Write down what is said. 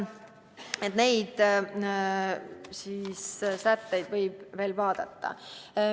Neid sätteid võib veel vaadata.